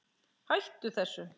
Hættu þessu